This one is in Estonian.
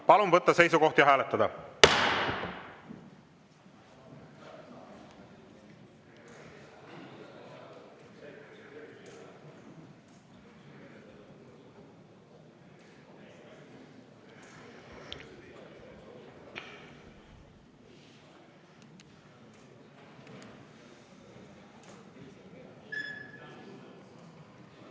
Palun võtta seisukoht ja hääletada!